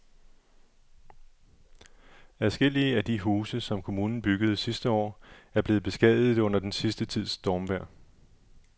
Adskillige af de huse, som kommunen byggede sidste år, er blevet beskadiget under den sidste tids stormvejr.